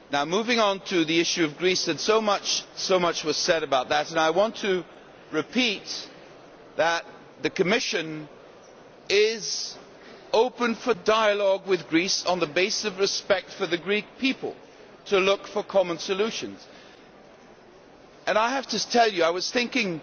Moving on to the issue of Greece, so much was said about that, and I want to repeat that the Commission is open for dialogue with Greece on the basis of respect for the Greek people to look for common solutions. I have to tell you that I was thinking